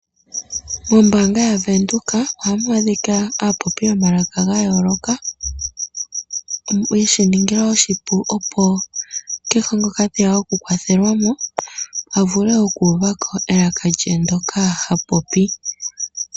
Mombaanga yaVenduka oha mu adhika aapopi yomalaka gayooloka, ye shi ningila oshipu opo kehe ngoka te ya oku kwathelwa mo, a vule oku uvako elaka lye ndoka ha popi.